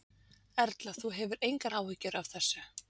Erla: Þú hefur engar áhyggjur af þessu?